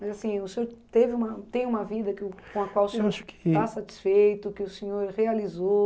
Mas assim, o senhor teve uma tem uma vida que com a qual o senhor, eu acho que, está satisfeito, que o senhor realizou.